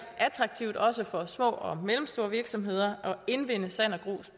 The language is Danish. attraktivt også for små og mellemstore virksomheder at indvinde sand og